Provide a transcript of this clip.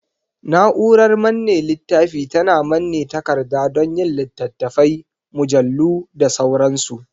Na'urar manne littafi tana manne takarda don yin littattafai, mujallu da sauransu.